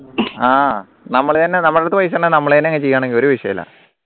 ആഹ് നമ്മൾ തന്നെ നമ്മൾടുത് പൈസ ഉണ്ടെങ്കിൽ നമ്മൾ തന്നെ അങ്ങ് ചെയ്യാണെങ്കിൽ ഒരു വിഷയവുല്ല